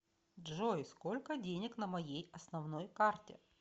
джой сколько денег на моей основной карте